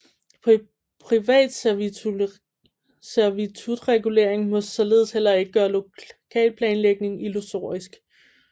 Privat servitutregulering må således heller ikke gøre lokalplanlægningen illusorisk